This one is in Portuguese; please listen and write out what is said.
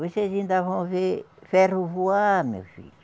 Vocês ainda vão ver ferro voar, meu filho.